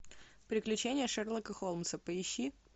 приключения шерлока холмса поищи